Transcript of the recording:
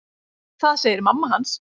Það segir mamma hans.